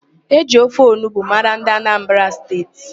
E ji ofe onugbo mara ndị Anambra State